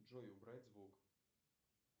джой убрать звук